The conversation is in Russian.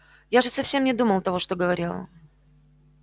я же совсем не думал того что говорила